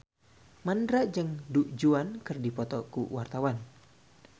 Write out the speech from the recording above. Mandra jeung Du Juan keur dipoto ku wartawan